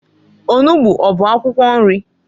Onugbu ọ bụ akwụkwọ nri?